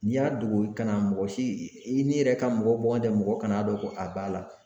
N'i y'a dogo kana mɔgɔ si i n'i yɛrɛ ka mɔgɔ bɔ n tɛ mɔgɔ kana don ko a b'a la